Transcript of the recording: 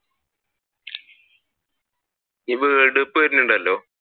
ഇനിയിപ്പോ world cup വരുന്നുണ്ടല്ലോ